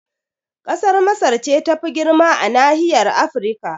Kasar Masar ce tafi girma a nahiyar Afrika